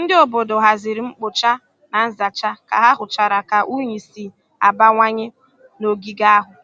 Ndị obodo haziri mkpocha na nzacha ka ha hụchara ka unyi si abawanye n'ogige ahụ.